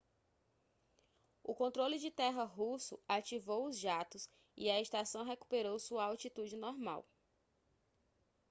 o controle de terra russo ativou os jatos e a estação recuperou sua altitude normal